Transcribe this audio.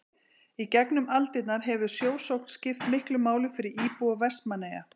í gegnum aldirnar hefur sjósókn skipt miklu máli fyrir íbúa vestmannaeyja